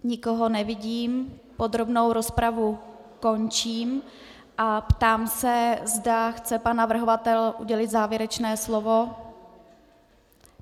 Nikoho nevidím, podrobnou rozpravu končím a ptám se, zda chce pan navrhovatel udělit závěrečné slovo.